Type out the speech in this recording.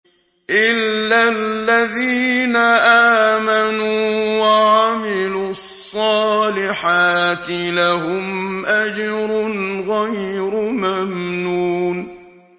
إِلَّا الَّذِينَ آمَنُوا وَعَمِلُوا الصَّالِحَاتِ لَهُمْ أَجْرٌ غَيْرُ مَمْنُونٍ